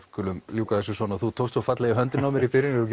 skulum ljúka þessu svona þú tókst svo fallega í höndina á mér í byrjun eigum